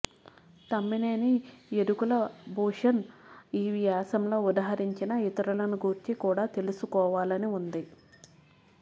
తమ్మినేని యదుకులభూషణ్ ఈ వ్యాసంలో ఉదహరించిన ఇతరులను గూర్చి కూడా తెలుసుకోవాలని ఉంది